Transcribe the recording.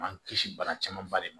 Man kisi bana camanba de ma